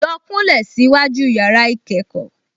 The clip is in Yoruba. Lọ kúnlẹ̀ síwájú yàrá-ìkẹ́kọ̀ọ́